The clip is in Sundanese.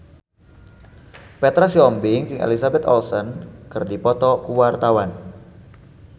Petra Sihombing jeung Elizabeth Olsen keur dipoto ku wartawan